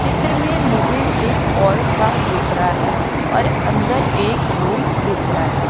चित्र में मुझे एक हॉल सा दिख रहा हैं और अंदर एक रूम दिख रहा हैं।